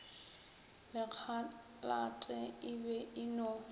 lekhalate e be e no